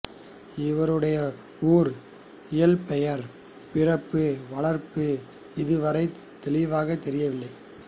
இவருடைய ஊர் இயற்பெயர் பிறப்பு வளர்ப்பு இதுவரைத் தெளிவாகத் தெரியவில்லை